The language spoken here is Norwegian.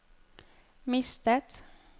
mistet